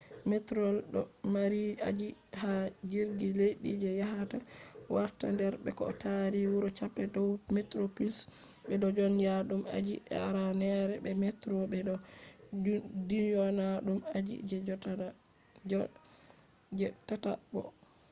metrorail do mari aji didi ha jirgi leddi je yahata warta der be ko tari wuro cape town: metroplus be do dyona dum aji je aranere be metro be do dyona dum aji je tatabo